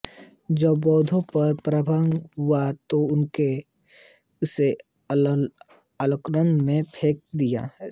जब बौद्धों का पराभव हुआ तो उन्होंने इसे अलकनन्दा में फेंक दिया